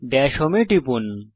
Das home এ টিপুন